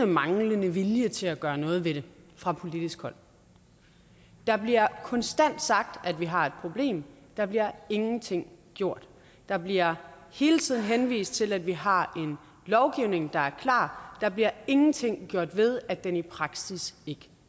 manglende vilje til at gøre noget ved det fra politisk hold der bliver konstant sagt at vi har et problem der bliver ingenting gjort der bliver hele tiden henvist til at vi har en lovgivning der er klar der bliver ingenting gjort ved at den i praksis ikke